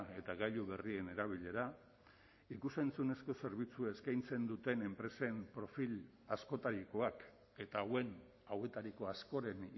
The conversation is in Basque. eta gailu berrien erabilera ikus entzunezko zerbitzu eskaintzen duten enpresen profil askotarikoak eta hauetariko askoren